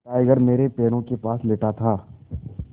tiger मेरे पैरों के पास लेटा था